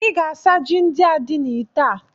Ị ga-asa ji ndị a dị n'itè a!